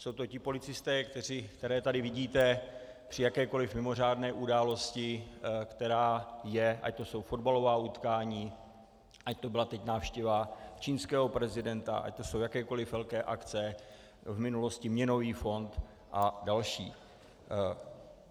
Jsou to ti policisté, které tady vidíte při jakékoli mimořádné události, která je, ať to jsou fotbalová utkání, ať to byla teď návštěva čínského prezidenta, ať to jsou jakékoliv velké akce, v minulosti měnový fond a další.